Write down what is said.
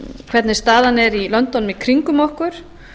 hvernig staðan er í löndunum í kringum okkur